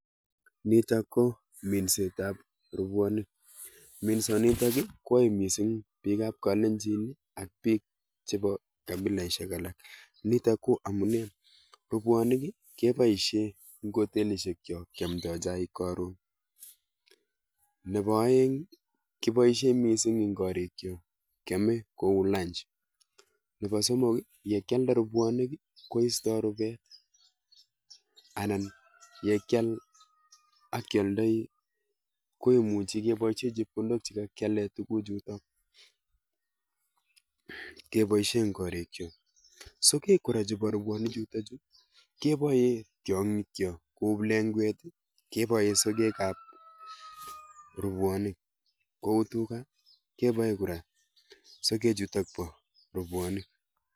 Nitok ko minsetap robwonik. Minsonitok kwoe mising bikap klalenjin ak biik chepo kapileshek alak, nitok ko amune; Rubwonik keboishe eng hotelishekchok kyomdoi chaik karon. Nepo oeng keboishe mising eng korikchok keame kou lunch. Nepo somok, yekyalde rubwonik koisoi rubet anan yekyal akyoldoi kemuchi keboishe chepkondok chekakyale tuguchuto keboishe eng korikchok. Sogek kora chepo robwonichuto keboe tiong'ikchok, ku plengwet keboe sogekap robwonik, kou tuga keboe kora sogechutok bo robwonik.